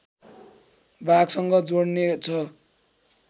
भागसँग जोड्ने छ